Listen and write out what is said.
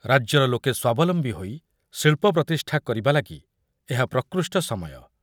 ରାଜ୍ୟରେ ଲୋକ ସ୍ବାବଲମ୍ବୀ ହୋଇ ଶିଳ୍ପ ପ୍ରତିଷ୍ଠା କରିବା ଲାଗି ଏହା ପ୍ରକୃଷ୍ଟ ସମୟ।